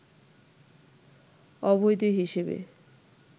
অবৈধ হিসেবে